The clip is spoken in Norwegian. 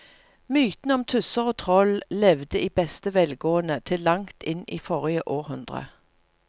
Mytene om tusser og troll levde i beste velgående til langt inn i forrige århundre.